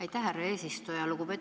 Aitäh, härra eesistuja!